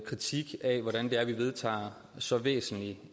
kritik af hvordan det er vi vedtager så væsentlig